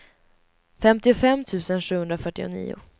femtiofem tusen sjuhundrafyrtionio